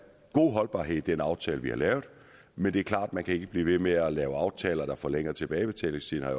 holdbarhed i den aftale vi har lavet men det er klart at man ikke kan blive ved med at lave aftaler der forlænger tilbagebetalingstiden